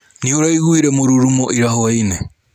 Nĩũraiguire mũrurumo ira hwainĩ?